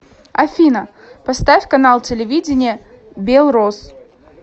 афина поставь канал телевидения белрос